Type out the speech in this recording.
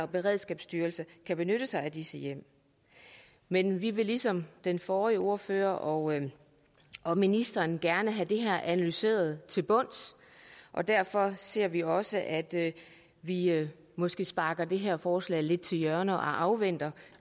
beredskabsstyrelsen kan benytte sig af disse hjem men vi vil ligesom den forrige ordfører og og ministeren gerne have det her analyseret til bunds og derfor ser vi også gerne at vi måske sparker det her forslag lidt til hjørne og afventer